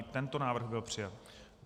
I tento návrh byl přijat.